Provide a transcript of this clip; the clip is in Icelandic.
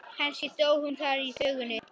Kannski stóð hún þar í þvögunni.